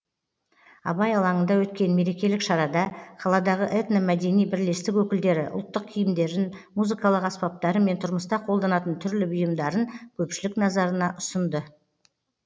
абай алаңында өткен мерекелік шарада қаладағы этномәдени бірлестік өкілдері ұлттық киімдерін музыкалық аспаптары мен тұрмыста қолданатын түрлі бұйымдарын көпшілік назарына ұсынды